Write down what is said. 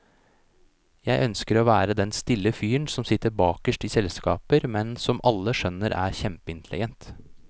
Jeg ønsker å være den stille fyren som sitter bakerst i selskaper, men som alle skjønner er kjempeintelligent.